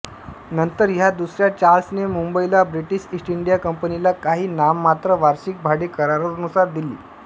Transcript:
नंतर ह्या दुसऱ्या चार्ल्सने मुंबईला ब्रिटीश इस्ट इंडिया कंपनीला काही नाममात्र वार्षिक भाडे करारानुसार दिली